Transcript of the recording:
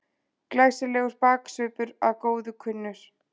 Glæsilegur baksvipur að góðu kunnur.